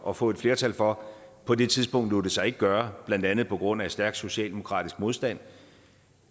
at få et flertal for på det tidspunkt lod det sig ikke gøre blandt andet på grund af stærk socialdemokratisk modstand